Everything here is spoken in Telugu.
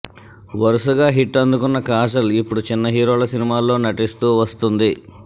వరుసగా హిట్ అందుకున్న కాజల్ ఇప్పుడు చిన్న హీరోల సినిమాల్లో నటిస్తూ వస్తుంది